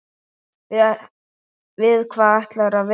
Við hvað ætlarðu að vinna?